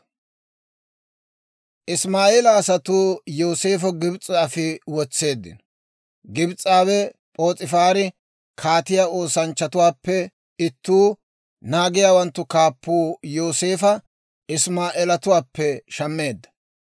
Isimaa'eela asatuu Yooseefa Gibs'e afi wotseeddino. Gibs'aawe P'oos'ifaari, kaatiyaa oosanchchatuwaappe ittuu, naagiyaawanttu kaappuu Yooseefa Isimaa'eeletuwaappe shammeedda.